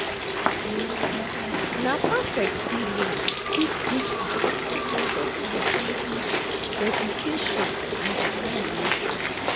na past experience fit teach di important of hardworking, dedication and determination.